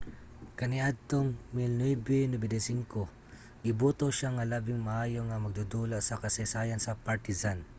kaniadtong 1995 giboto siya nga labing maayo nga magdudula sa kasaysayan sa partizan